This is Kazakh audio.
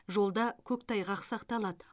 жолда көктайғақ сақталады